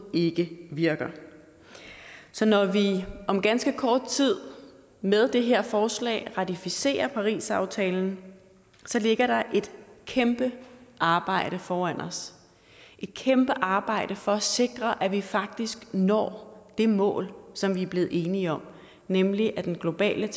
ikke virker så når vi om ganske kort tid med det her forslag ratificerer parisaftalen ligger der et kæmpe arbejde foran os et kæmpe arbejde for at sikre at vi faktisk når det mål som vi er blevet enige om nemlig at den globale